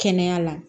Kɛnɛya la